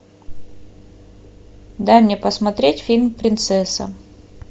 дай мне посмотреть фильм принцесса